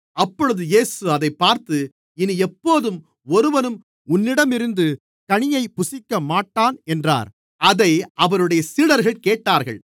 அப்பொழுது இயேசு அதைப் பார்த்து இனி எப்போதும் ஒருவனும் உன்னிடமிருந்து கனியைப் புசிக்கமாட்டான் என்றார் அதை அவருடைய சீடர்கள் கேட்டார்கள்